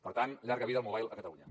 per tant llarga vida al mobile a catalunya